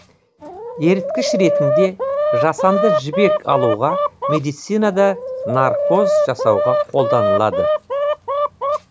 еріткіш ретінде жасанды жібек алуға медицинада наркоз жасауға қолданылады